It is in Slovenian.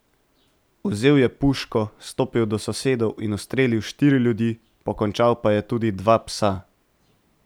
Vzel je puško, stopil do sosedov in ustrelil štiri ljudi, pokončal pa je tudi dva psa.